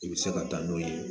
I bɛ se ka taa n'o ye